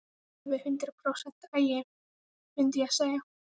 Alveg hundrað prósent agi, mundi ég segja.